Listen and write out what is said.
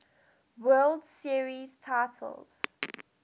world series titles